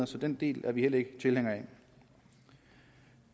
så den del er vi heller ikke tilhængere af